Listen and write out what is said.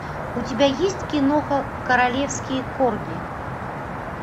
у тебя есть киноха королевские корги